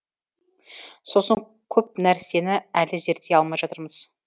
сосын көп нәрсені әлі зерттей алмай жатырмыз